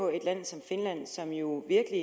et land som finland som jo virkelig